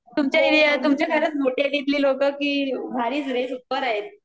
तुमच्या एरिया, तुमच्यासारखीच मोठी आहेत तिथली लोकं की भारीच रे सुपर आहेत